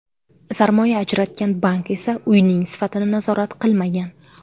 Sarmoya ajratgan bank esa uyning sifatini nazorat qilmagan.